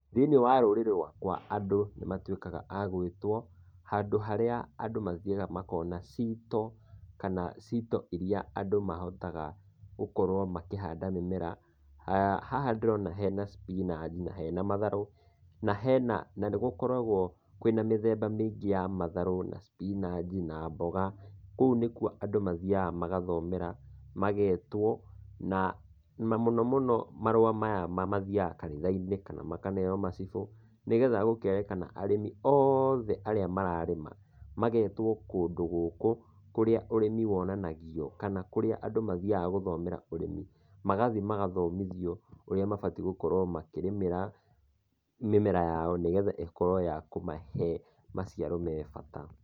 Thĩinĩ wa rũrĩrĩ rwakwa andũ nĩ matuĩkaga agũĩtwo, handũ harĩa andũ mathiaga makona ciito, kana ciito iria andũ mahotaga gũkorwo makĩhanda mĩmera. Haha ndĩrona hena spinach, na hena matharũ, na hena, na nĩ gũkoragwo kwĩna mĩthemba mĩingĩ ya matharũ na spinach na mboga. Kũu nĩkuo andũ mathiaga magathomera, magetwo, na na mũno mũno marũa maya mathiaga kanitha-inĩ kana makaneo macibũ, nĩgetha gũkerĩkana arĩmi othe arĩa mararĩma, magetwo kũndũ gũkũ, kũrĩa ũrĩmi wonanagio, kana kũrĩa andũ mathiaga gũthomera ũrĩmi, magathi magathomithio ũria mabatiĩ gũkorwo makĩrĩmĩra mĩmera yao nĩgetha ĩkorwo yakũmahe maciaro mebata.